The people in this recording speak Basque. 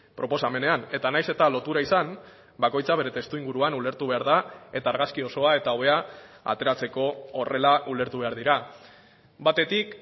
proposamenean eta naiz eta lotura izan bakoitzak bere testuinguruan ulertu behar da eta argazki osoa eta hobea ateratzeko horrela ulertu behar dira batetik